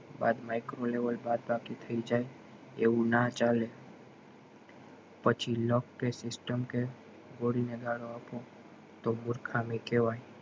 બાદ micro level બાદ બાકી થય જાય એવું ના ચાલે પછી luck કે system કે તો ગાળો આપો મુર્ખામી કેવાય